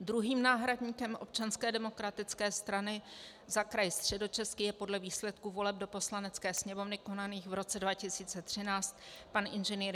Druhým náhradníkem Občanské demokratické strany za kraj Středočeský je podle výsledků voleb do Poslanecké sněmovny konaných v roce 2013 pan Ing.